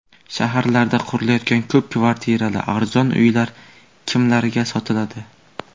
Shaharlarda qurilayotgan ko‘p kvartirali arzon uylar kimlarga sotiladi?.